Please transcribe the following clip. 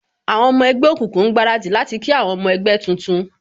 Àwọn ọmọ ẹgbẹ́ òkùnkùn ń gbaradì láti kí àwọn ọmọ ẹgbẹ́ tuntun